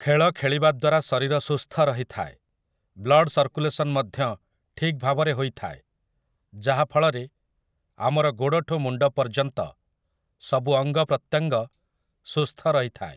ଖେଳ ଖେଳିବା ଦ୍ୱାରା ଶରୀର ସୁସ୍ଥ ରହିଥାଏ, ବ୍ଲଡ୍ ସର୍କୁଲେସନ୍ ମଧ୍ୟ ଠିକ୍ ଭାବରେ ହୋଇଥାଏ । ଯାହା ଫଳରେ ଆମର ଗୋଡ଼ଠୁ ମୁଣ୍ଡ ପର୍ଯ୍ୟନ୍ତ ସବୁ ଅଙ୍ଗ ପ୍ରତ୍ୟଙ୍ଗ ସୁସ୍ଥ ରହିଥାଏ ।